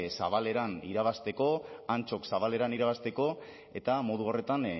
zabaleran irabazteko antxok zabaleran irabazteko eta modu horretan